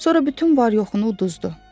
Sonra bütün var-yoxunu uduzdu.